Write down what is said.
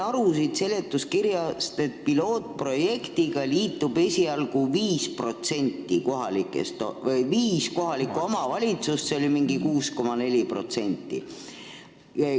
Ma sain siit seletuskirjast aru, et pilootprojektiga liitub esialgu viis kohalikku omavalitsust, s.o mingi 6,4%.